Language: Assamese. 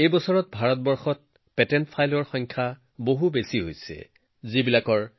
এইবাৰ ভাৰতত পেটেণ্ট দাখিলৰ সংখ্যা বেছি আছিল প্ৰায় ৬০ ঘৰুৱা পুঁজিৰ পৰা দাখিল কৰা হৈছিল